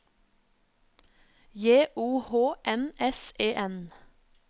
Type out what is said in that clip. J O H N S E N